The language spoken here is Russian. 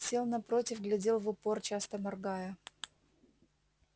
сел напротив глядел в упор часто моргая